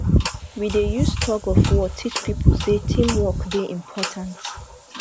we dey use tugofwar teach pipo sey team work dey important